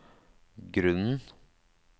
grunnen